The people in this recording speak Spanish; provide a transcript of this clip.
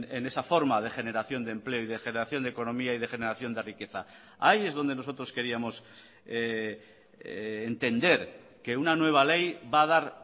en esa forma de generación de empleo y de generación de economía y de generación de riqueza ahí es donde nosotros queríamos entender que una nueva ley va a dar